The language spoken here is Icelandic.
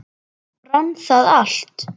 Brann það allt?